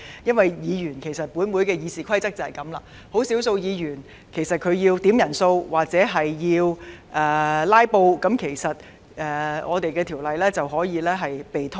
因為根據立法會的《議事規則》，即使只有少數議員要求點算法定人數或"拉布"，《條例草案》便可能被拖延。